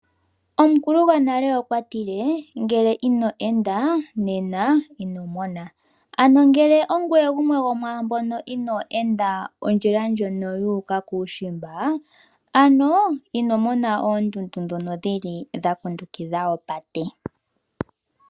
Omukulu gwonale okwatile ngele ino enda nena inomona. Ano ngele ongoye gumwe gomwaambono ino enda ondjila ndjono yu uka kuushimba ano inomona oondundu ndhono dhakundukidha opate.